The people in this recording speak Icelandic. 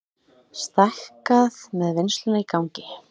Stækkað með vinnsluna í gangi